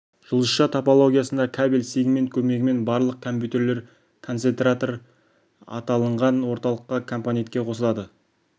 жұлдызша топологиясында кабель сегмент көмегімен барлық компьютерлер концентратор аталынған орталық компонентке қосылады